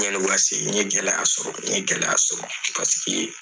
n ye gɛlɛya sɔrɔ n ye gɛlɛya sɔrɔ paseke